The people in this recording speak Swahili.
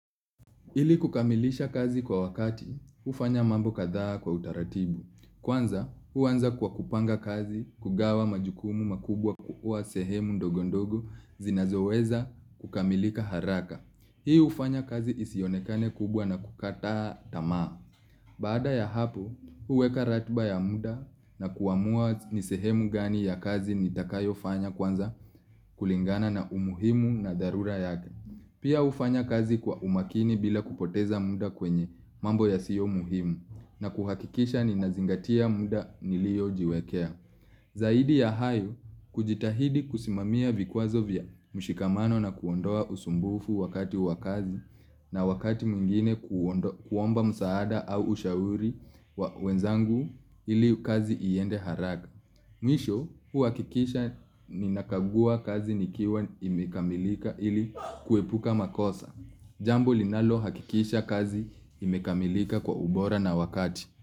Ili kukamilisha kazi kwa wakati, hufanya mambo kadhaa kwa utaratibu. Kwanza, huanza kwa kupanga kazi, kugawa majukumu makubwa kukuwa sehemu ndogo ndogo zinazoweza kukamilika haraka. Hii hufanya kazi isionekane kubwa na kukataa tamaa. Baada ya hapo, huweka ratiba ya muda na kuamua nisehemu gani ya kazi nitakayo fanya kwanza kulingana na umuhimu na dharura yake. Pia hufanya kazi kwa umakini bila kupoteza muda kwenye mambo ya sio muhimu na kuhakikisha ninazingatia muda niliojiwekea. Zaidi ya hayo kujitahidi kusimamia vikwazo vya mshikamano na kuondoa usumbufu wakati wa kazi na wakati mwingine kuomba msaada au ushauri wenzangu ili kazi iende haraka. Mwisho huhakikisha ninakagua kazi nikiwa imekamilika ili kuepuka makosa. Jambo linalohakikisha kazi imekamilika kwa ubora na wakati.